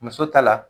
Muso ta la